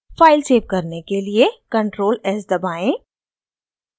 file save करने के लिए ctrl+s दबाएं